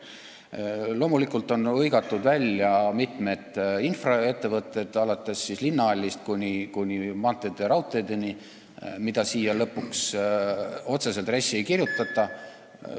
Loomulikult on hõigatud välja mitmed asjad, alates linnahallist kuni maanteede ja raudteedeni, mida otseselt RES-i lõpuks ei kirjutata ...